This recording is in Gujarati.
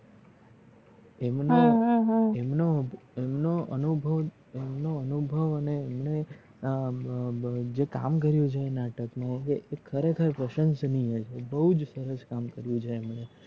આમનું આમનું આમનું અનુભવ અને અમને એ જે કામ કર્યું છે એ નાટક મા એ ખરેખર પ્રસંસનીય છે એ બોજ સરસ કામ કર્યું છે એમને